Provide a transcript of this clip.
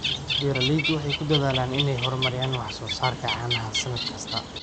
Beeraleydu waxay ku dadaalaan inay horumariyaan wax soo saarka caanaha sannad kasta.